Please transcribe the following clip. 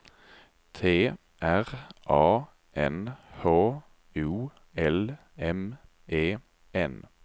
T R A N H O L M E N